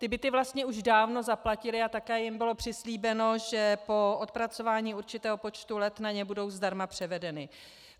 Ty byty vlastně už dávno zaplatili a také jim bylo přislíbeno, že po odpracování určitého počtu let na ně budou zdarma převedeny.